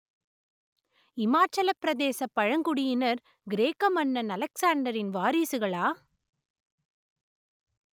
இமாச்சலப் பிரதேசப் பழங்குடியினர் கிரேக்க மன்னன் அலெக்சாண்டரின் வாரிசுகளா